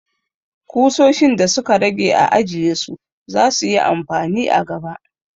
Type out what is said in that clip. Kusoshin da su ka rage a ajiye su! za su yi amfani a gaba.